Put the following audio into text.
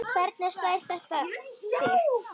Hvernig slær þetta þig?